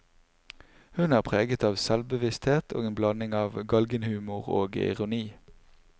Hun er preget av selvbevissthet og en blanding av galgenhumor og ironi.